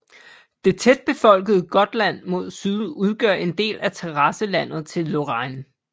Det tætbefolkede Gutland mod syd udgør en del af terrasselandet til Lorraine